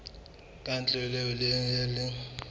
ka ntle eo e leng